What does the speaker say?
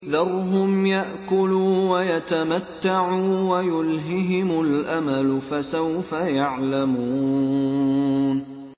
ذَرْهُمْ يَأْكُلُوا وَيَتَمَتَّعُوا وَيُلْهِهِمُ الْأَمَلُ ۖ فَسَوْفَ يَعْلَمُونَ